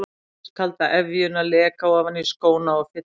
Hann fann ískalda efjuna leka ofan í skóna og fylla þá.